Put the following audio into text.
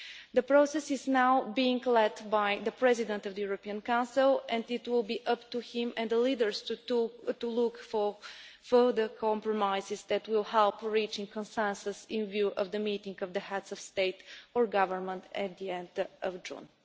The process is now being led by the President of the European Council, and it will be up to him and the leaders to look for further compromises that will help reach a consensus in view of the meeting of the Heads of State and Government at the end of June.